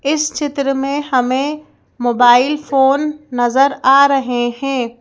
इस चित्र में हमें मोबाइल फोन नजर आ रहे हैं।